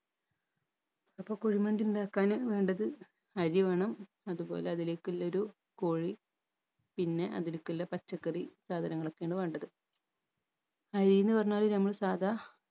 അപ്പൊ കുഴിമന്തി ഇണ്ടാക്കാന് വേണ്ടത് അരി വേണം അതുപോലെ അതിലേക്കില്ലൊരു കോഴി പിന്നെ അതിലെക്കുള്ള പച്ചക്കറി സാധനങ്ങളൊക്കെയാണ് വേണ്ടത് അരീന്ന് പറഞ്ഞാൽ നമ്മളെ സാധാ